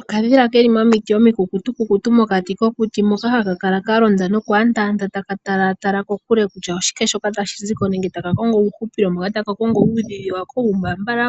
Okadhila keli momiti omikukutukukutu mokati kokuti moka haka kala kalonda nokwaandaanda taka talatala kokule kutya oshike shoka tashi ziko nenge taka kongo uuhupilo moka taka kongo uudhidhi wako, uumbaambala